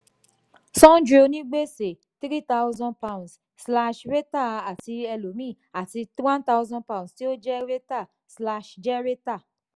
sundry onígbèsè three thousand pounds slash rater àti elòmíì àti one thousand poubnds tí ó jẹ rater jẹ́ rater.